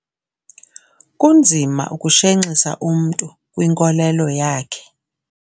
Kunzima ukushenxisa umntu kwinkolelo yakhe.